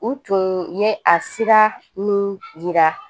U tun ye a sira minnu yira